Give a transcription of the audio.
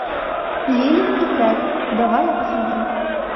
лили и кэт давай я посмотрю